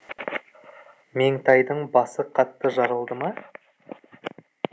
меңтайдың басы қатты жарылды ма